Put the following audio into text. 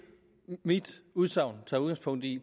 mit udsagn tager udgangspunkt i